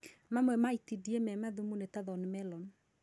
Mamwe ma itindiĩ mema thimũ nĩ ta Thorny melon